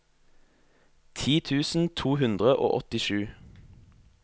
ti tusen to hundre og åttisju